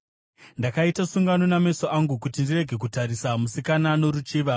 “Ndakaita sungano nameso angu kuti ndirege kutarisa musikana noruchiva.